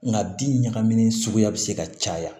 Nka bin ɲagamin suguya bɛ se ka caya